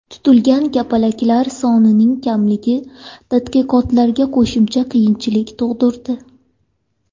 Tutilgan kapalaklar sonining kamligi tadqiqotlarga qo‘shimcha qiyinchilik tug‘dirdi.